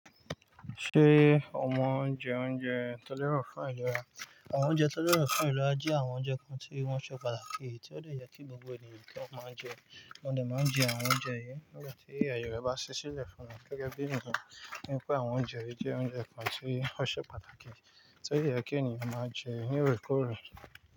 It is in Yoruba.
Ṣé àwọn oúnjẹ oúnjẹ tó lẹ́ro fún àyè rẹ, àwọn oúnjẹ tó lẹ́ro fún àyè rẹ jẹ́ àwọn oúnjẹ kan tí wọ́n ṣe pàtàkì tí ó le yẹ kí gbogbo ènìyàn kí wọ́n máa jẹ, mo de máa ń jẹ àwọn oúnjẹ yìí nígbà tí àyè rẹ̀ bá ṣe sílẹ̀ fún wọn gẹ́gẹ́ bí eniyen nípé àwọn oúnjẹ yìí jẹ́ oúnjẹ kan tí ó ṣe pàtàkì tí ó yẹ kí ènìyàn máa jẹ ní orekoorẹ̀